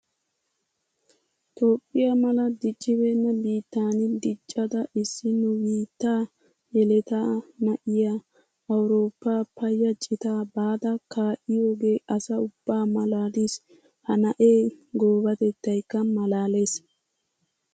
Toophphiya mala diccibeena biittan diccadda issi nu biitta yeletta na'iya Awurooppa paya cita baada kaa'iyooge asaa ubba malaalis. Ha na'ee goobatettaykka malaales.